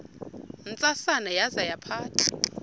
ntsasana yaza yaphatha